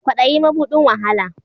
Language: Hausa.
Kwaɗayi ma buɗin wahala